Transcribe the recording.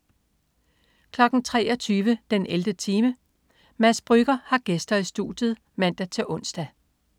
23.00 den 11. time. Mads Brügger har gæster i studiet (man-ons)